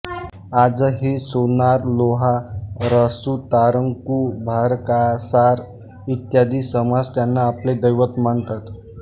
आजही सोनारलोहारसुतारकुंभारकासार इत्यादी समाज त्यांना आपले दैवत मानतात